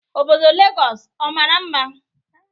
Obodo Legọs amara mma?